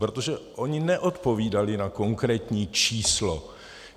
Protože oni neodpovídali na konkrétní číslo.